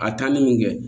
A taali mun kɛ